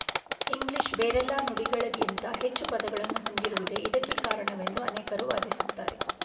English ಬೇರೆಲ್ಲ ನುಡಿಗಳಕ್ಕಿಂತ ಹೆಚ್ಚು ಪದಗಳನ್ನು ಹೊಂದಿರುವುದೇ ಇದಕ್ಕೆ ಕಾರಣವೆಂದು ಅನೇಕರು ವಾದಿಸುತ್ತಾರೆ